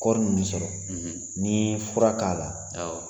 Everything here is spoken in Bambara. Kɔɔri mun bɛ sɔrɔ n'i ye fura k'a la awɔ.